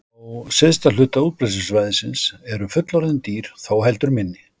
Á syðsta hluta útbreiðslusvæðisins eru fullorðin dýr þó heldur minni.